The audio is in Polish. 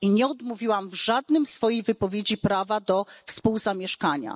I nie odmówiłam w żadnej swojej wypowiedzi prawa do współzamieszkania.